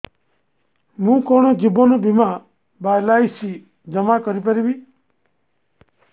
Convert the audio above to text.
ମୁ କଣ ଜୀବନ ବୀମା ବା ଏଲ୍.ଆଇ.ସି ଜମା କରି ପାରିବି